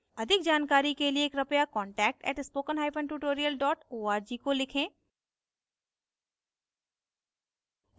अधिक जानकारी के लिए कृपया contact @spokentutorial org को लिखें